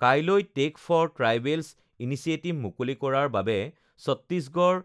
কাইলৈ take for tribals initiative মুকলি কৰাৰ বাবে চট্টিশগড়